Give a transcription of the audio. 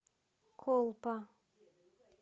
колпа